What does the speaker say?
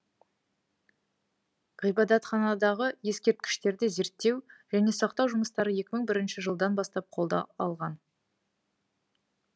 ғибадатханадағы ескерткіштерді зерттеу және сақтау жұмыстары екі мың бірінші жылдан бастап қолға алынды